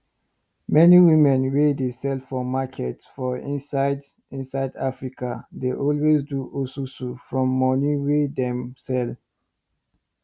many women wey dey sell for market for inside inside africa dey always do osusu from moni wey dem sell